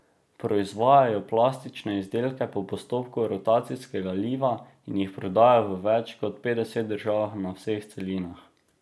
Proizvajajo plastične izdelke po postopku rotacijskega liva in jih prodajajo v več kot petdeset držav na vseh celinah.